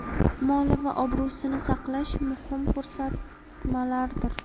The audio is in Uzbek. moli va obro‘sini saqlash muhim ko‘rsatmalardir.